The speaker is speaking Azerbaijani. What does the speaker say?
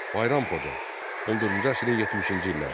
Bayram Xoca, 14-cü əsrin 70-ci illəri.